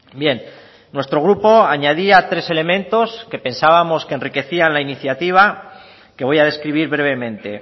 bien nuestro grupo añadía tres elementos que pensábamos que enriquecían la iniciativa que voy a describir brevemente